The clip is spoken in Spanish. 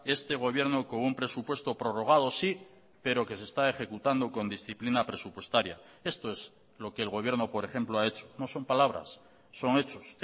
este gobierno con un presupuesto prorrogado sí pero que se está ejecutando con disciplina presupuestaria esto es lo que el gobierno por ejemplo ha hecho no son palabras son hechos